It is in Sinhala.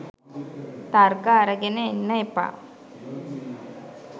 තර්ක අරගෙන එන්න එපා.